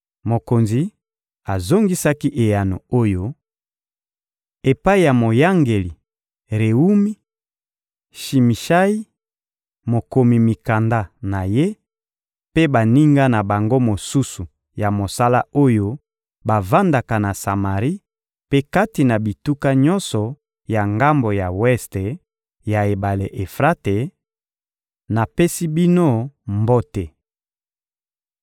Mokonzi azongisaki eyano oyo: «Epai ya moyangeli Rewumi; Shimishayi, mokomi mikanda na ye, mpe baninga na bango mosusu ya mosala oyo bavandaka na Samari mpe kati na bituka nyonso na ngambo ya weste ya ebale Efrate: Napesi bino mbote.